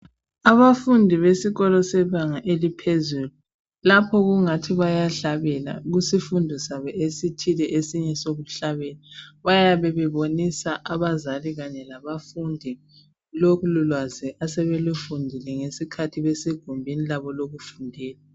Abafundi besikolo bebanga eliphezulu lapho kungani bayahlabela kusifundo sabo esithile sokuhlabela bayabe bebonisa abazali kanye bafunde lolo lwazi asebelufundile ngesikhathi besegumbini labo lokufundela.